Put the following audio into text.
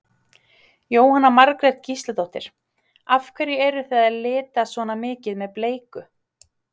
Jóhanna Margrét Gísladóttir: Af hverju eruð þið að lita svona mikið með bleiku?